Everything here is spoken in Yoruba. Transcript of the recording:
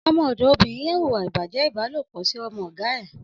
Ọmọ ọdọ óbirìn yèn wúwà ibàjẹ̀ ibàlópọ̀ si ọmọ ọ̀gá ẹ̀